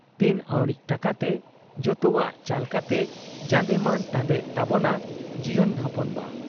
ᱛᱤᱱ ᱟᱹᱣᱲᱤᱡ ᱴᱟᱠᱟᱛᱮ ᱡᱚᱛᱚᱣᱟᱜ ᱪᱟᱞ ᱠᱟᱛᱮ ᱡᱟᱸᱫᱮᱢᱟᱱ ᱛᱟᱸᱫᱮᱜ ᱛᱟᱵᱚᱱᱟ ᱡᱤᱭᱚᱱ ᱦᱚᱯᱚᱱ ᱵᱟ ᱾